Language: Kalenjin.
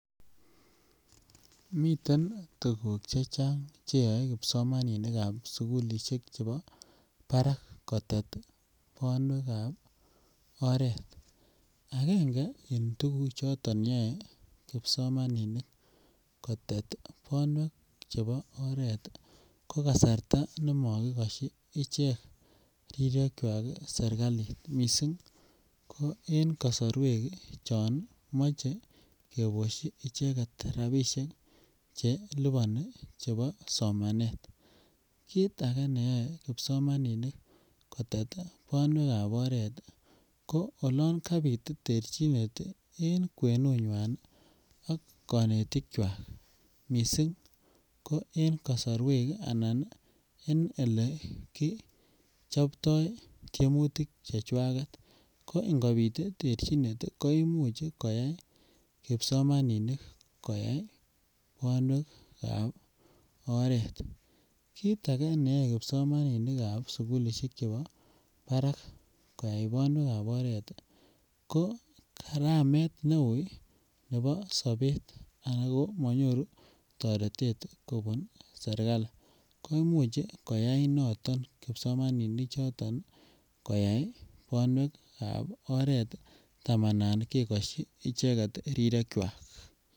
Miten tuguk chechang cheyoe kipsomaninik ab sukulishek chebo Barak kotet bonwek ab oret, agenge en tuguk choton yoe kipsomaninik kotet oret ab bonwek ko kasarta ne mokikoshi icheng rirek kwak sirikalit miisik ko en kosorwek chon moche keboshi icheket rabishek cheluboni chebo somanet kit age neyo kipsomaninik kotet bonwek ab oret ko oloon kabit terchinet en kwenunywan ak kanetikwak miisik ko en kosorwek anan en ole kii chobtoo temutik chechwak ko ingobit terchinet koimuch koyai kipsomaninik koyai bonwek ab oret, kit age neyo kipsomaninik ab sukulishek chebo Barak koyai bonwek ab oret ko karamet neu nebo sabet ago monyoru toretet kobun sirikali koimuch koyai noton kipsomaninik noton koyai bonwek ab oret tamanan kekoshi icheket rirekwak.